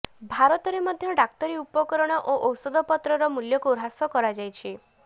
ଭାରତରେ ମଧ୍ୟ ଡାକ୍ତରୀ ଉପକରଣ ଓ ଔଷଧପତ୍ରର ମୂଲ୍ୟକୁ ହ୍ରାସ କରାଯାଇଛି